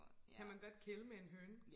kan man godt kæle med en høne